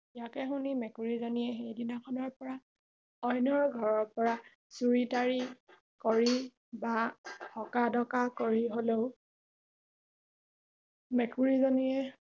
ইয়াকে শুনি মেকুৰী জনীয়ে সেই দিনা খনৰ পৰা অইনৰ ঘৰৰ পৰা চুৰি তাৰি কৰি বা অঁকা ঢকা কৰি হলেও মেকুৰী জনীয়ে